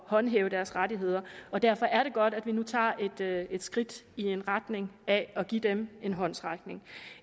håndhæve deres rettigheder og derfor er det godt at vi nu tager et skridt i retning af at give dem en håndsrækning